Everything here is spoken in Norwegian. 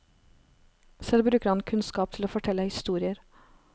Selv bruker han kunnskap til å fortelle historier.